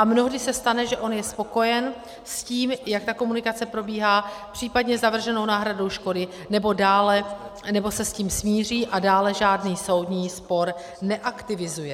A mnohdy se stane, že on je spokojen s tím, jak ta komunikace probíhá, případně s navrženou náhradou škody, nebo se s tím smíří a dále žádný soudní spor neaktivizuje.